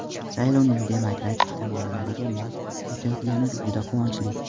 Saylovning demokratik tamoyillarga mos o‘tayotgani juda quvonchli.